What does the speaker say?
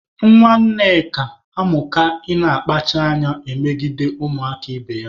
Nwa Nneka amụka ị na-akpacha anya emegide ụmụaka ibe ya.